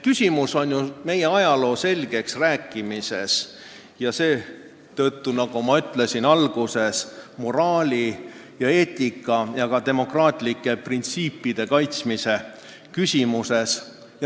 Küsimus on ju meie ajaloo selgeks rääkimises ning nagu ma alguses ütlesin, moraali, eetika ja demokraatlike printsiipide kaitsmises.